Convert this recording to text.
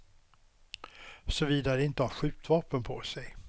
Såvida de inte har skjutvapen på sig.